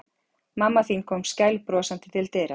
Mamma þín kom skælbrosandi til dyra.